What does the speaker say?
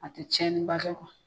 A te tiɲɛniba dɔn